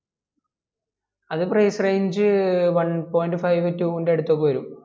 അത് price range one point five two ൻ്റെ അടുത്ത് ഒക്കെ വെരും